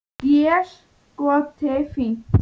Déskoti fínt.